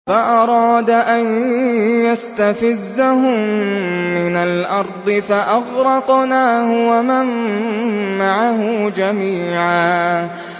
فَأَرَادَ أَن يَسْتَفِزَّهُم مِّنَ الْأَرْضِ فَأَغْرَقْنَاهُ وَمَن مَّعَهُ جَمِيعًا